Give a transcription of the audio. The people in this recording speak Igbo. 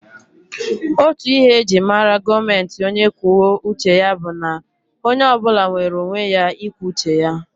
Otú ihe e ji mara gọọmenti onye kwuo uche ya bụ na onye ọ bụla nwere onwe ya ikwu uche ya